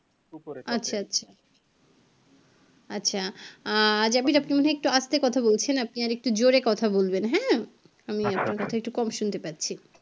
আচ্ছা আচ্ছা আচ্ছা জাভিদ আপনি একটু মনে হয় আস্তে কথা বলছেন আপনি আর একটু জোরে কথা বলবেন হ্যাঁ আমি আপনার কথা একটু কম শুনতে পাচ্ছি